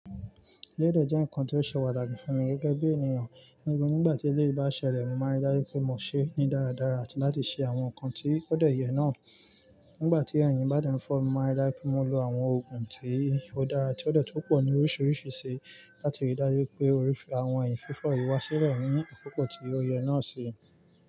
Elé dẹ̀ jẹ́ ǹkan tí ó ṣe pàtàkì fún mi gẹ́gẹ́ bí ènìyàn. Nígbà tí eléyìí bá ṣẹlẹ̀, mo máa rí dájú pé mo ṣe é ní dáradára àti láti ṣe àwọn nǹkan tí kò dẹ̀ yẹ̀ náà. Nígbà tí ẹ̀yìn bá dẹ fọ́ mi, mo máa rí dájú pé mo lo àwọn òògùn tí ó dára tí ó dẹ̀ tó pọ̀ ní oríṣiríṣi si láti rí dájú pé àwọn ẹ̀yìn fífọ̀ yìí wá sílẹ̀ nínú àkókò tí ó yẹ náà sì.